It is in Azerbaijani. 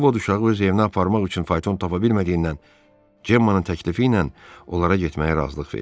Ovod uşağı öz evinə aparmaq üçün fayton tapa bilmədiyindən, Cemmanın təklifi ilə onlara getməyə razılıq verdi.